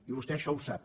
i vostè això ho sap